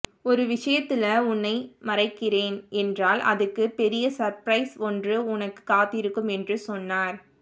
ஒரு விஷயத்துல உன்னை மறைகிறேன் என்றால் அதுக்கு பெரிய சர்ப்ரைஸ் ஒன்று உனக்கு காத்திருக்கும் என்று சொன்னார்